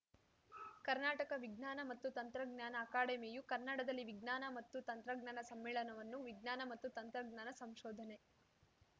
ಕರ್ನಾಟಕ ವಿಜ್ಞಾನ ಮತ್ತು ತಂತ್ರಜ್ಞಾನ ಅಕಾಡೆಮಿಯು ಕನ್ನಡದಲ್ಲಿ ವಿಜ್ಞಾನ ಮತ್ತು ತಂತ್ರಜ್ಞಾನ ಸಮ್ಮೇಳನ ವನ್ನು ವಿಜ್ಞಾನ ಮತ್ತು ತಂತ್ರಜ್ಞಾನ ಸಂಶೋಧನೆ